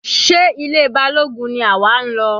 Sé ilé Balógun ni àwa ń lọ?